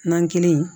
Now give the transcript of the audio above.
Nan kelen